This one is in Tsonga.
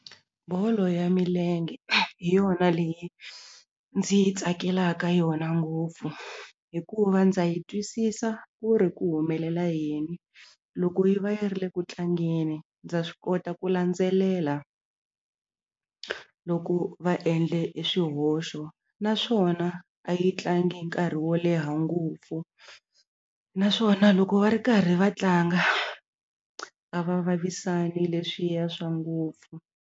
Bolo ya milenge hi yona leyi ndzi yi tsakelaka yona ngopfu hikuva ndza yi twisisa ku ri ku humelela yini loko yi va yi ri le ku tlangeni ndza swi kota ku landzelela loko va endle e swihoxo naswona a yi tlangi nkarhi wo leha ngopfu naswona loko va ri karhi va tlanga a va vavisani leswiya swa ngopfu.